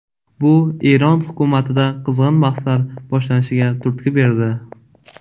Bu Eron hukumatida qizg‘in bahslar boshlanishiga turtki berdi.